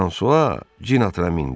Fransua cin atına mindi.